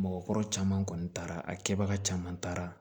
Mɔgɔkɔrɔba caman kɔni taara a kɛbaga caman taara